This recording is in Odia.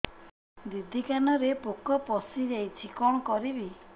ଦିଦି କାନରେ ପୋକ ପଶିଯାଇଛି କଣ କରିଵି